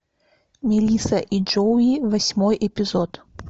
мелисса и джоуи восьмой эпизод